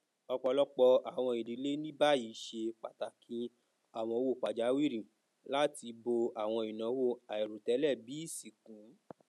ọpọlọpọ àwọn ìdílé ní báyìí ṣe pàtàkì àwọn owó pajàwìrì láti bó àwọn ináwó àìròtẹlẹ bíi ìsìnkú